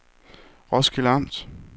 Roskilde Amt